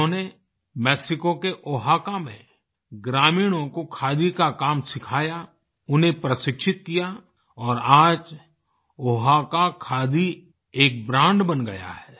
उन्होंने मेक्सिको के ओहाका में ग्रामीणों को खादी का काम सिखाया उन्हें प्रशिक्षित किया और आज ओहाका खादी एक ब्रांड बन गया है